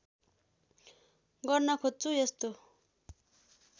गर्न खोज्छु यस्तो